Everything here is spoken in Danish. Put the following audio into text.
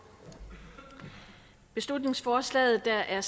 beslutningsforslaget der er